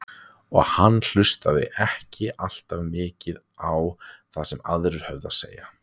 Og hann hlustaði ekki alltaf mikið á það sem aðrir höfðu að segja.